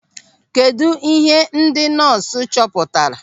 Kedụ ihe ndị nọọsụ chọpụtara?